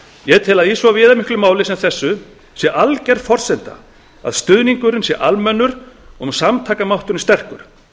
ég tel að í svo viðamiklu máli sem þessu sé alger forsenda að stuðningurinn sé almennur og samtakamátturinn sterkur